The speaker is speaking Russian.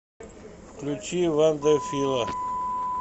включи вандерфила